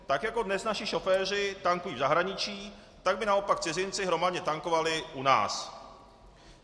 Tak jako dnes naši šoféři tankují v zahraničí, tak by naopak cizinci hromadně tankovali u nás.